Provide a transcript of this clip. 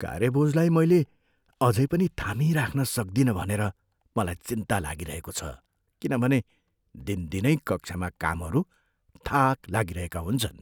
कार्यबोझलाई मैले अझै पनि थामिराख्न सक्दिनँ भनेर मलाई चिन्ता लागिरहेको छ किनभने दिनदिनै कक्षामा कामहरू थाक लागिरहेका हुन्छन्।